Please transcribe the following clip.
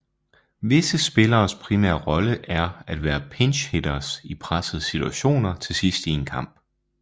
Visse spilleres primære rolle er at være pinch hitters i pressede situationer til sidst i en kamp